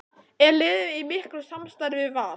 Er liðið í miklu samstarfi við Val?